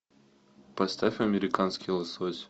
поставь американский лосось